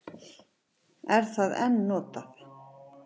Er það enn notað?